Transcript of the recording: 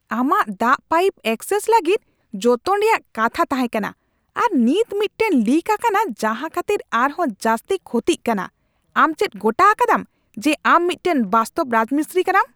ᱟᱢᱟᱜ ᱫᱟᱜ ᱯᱟᱭᱤᱯ ᱮᱠᱥᱮᱥ ᱞᱟᱹᱜᱤᱫ ᱡᱚᱛᱚᱱ ᱨᱮᱭᱟᱜ ᱠᱟᱛᱷᱟ ᱛᱟᱦᱮᱸ ᱠᱟᱱᱟ, ᱟᱨ ᱱᱤᱛ ᱢᱤᱫᱴᱟᱝ ᱞᱤᱠ ᱟᱠᱟᱱᱟ ᱡᱟᱦᱟᱸ ᱠᱷᱟᱹᱛᱤᱨ ᱟᱨᱦᱚᱸ ᱡᱟᱹᱥᱛᱤ ᱠᱷᱚᱛᱤᱜ ᱠᱟᱱᱟ ! ᱟᱢ ᱪᱮᱫ ᱜᱚᱴᱟ ᱟᱠᱟᱫᱟᱢ ᱡᱮ ᱟᱢ ᱢᱤᱫᱴᱟᱝ ᱵᱟᱥᱛᱚᱵᱽ ᱨᱟᱡᱽᱢᱤᱥᱛᱨᱤ ᱠᱟᱱᱟᱢ ?